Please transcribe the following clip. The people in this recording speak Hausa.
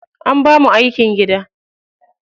An bamu aikin gida.